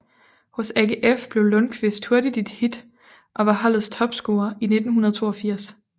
Hos AGF blev Lundkvist hurtigt et hit og var holdets topscorer i 1982